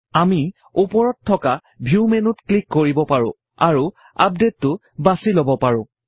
আমি উপৰত থকা ভিউ মেনুত ক্লিক কৰি পাৰোঁ আৰু আপডেটতো বাছি লব পাৰোঁ